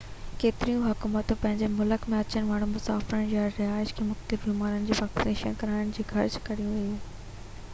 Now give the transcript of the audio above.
ڪيتريون حڪومتون پنهنجي ملڪ ۾ اچڻ وارن مسافرن يا رهائيشن کي مختلف بيمارين جي ويڪسين ڪرائڻ جي گهرج ڪري ٿي